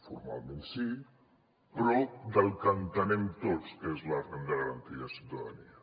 formalment sí però del que entenem tots que és la renda garantida de ciutadania